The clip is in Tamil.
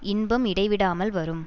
இன்பம் இடைவிடாமல் வரும்